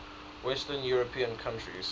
western european countries